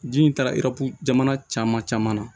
Ji in taara jamana caman caman na